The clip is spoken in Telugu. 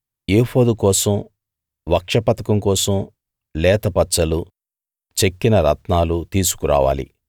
ఏఫోదు కోసం వక్షపతకం కోసం లేత పచ్చలు చెక్కిన రత్నాలు తీసుకురావాలి